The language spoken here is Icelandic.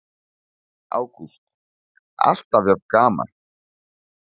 Ágúst: Alltaf jafn gaman?